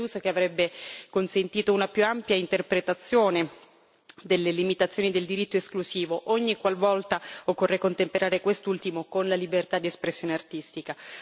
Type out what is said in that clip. che avrebbe consentito una più ampia interpretazione delle limitazioni del diritto esclusivo, ogniqualvolta occorre contemperare quest'ultimo con la libertà di espressione artistica.